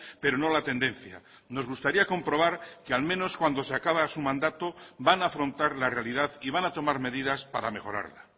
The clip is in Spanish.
pero no la tendencia nos gustaría comprobar que al menos cuando se acaba su mandato van a afrontar la realidad y van a tomar medidas para mejorarla